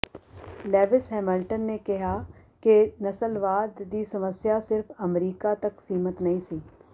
Lewis Hamilton ਨੇ ਕਿਹਾ ਕਿ ਨਸਲਵਾਦ ਦੀ ਸਮੱਸਿਆ ਸਿਰਫ ਅਮਰੀਕਾ ਤੱਕ ਸੀਮਤ ਨਹੀਂ ਸੀ